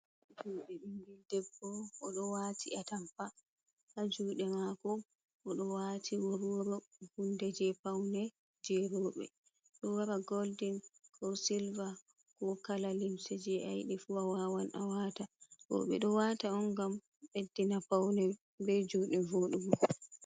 Juɗe ɓingel debbo o ɗo wati a tampa, ha juɗe mako o ɗo wati worworo, hunde je paune je robe. Ɗo wara goldin ko silva ko kala limse je ayiɗi fu, a wawan a wata. Bo ɓe ɗo wata on gam beddina paune be juɗe voɗugo.